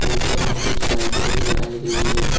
ऊपर में कुछ लाइटें भी लगाई गई है।